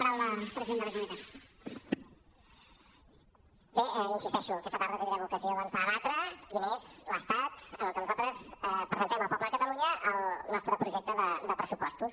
bé hi insisteixo aquesta tarda tindrem ocasió doncs de debatre quin és l’estat en el qual nosaltres presentem al poble de catalunya el nostre projecte de pressupostos